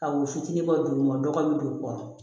Ka wo fitinin bɔ ma dɔgɔ bɛ don u kɔrɔ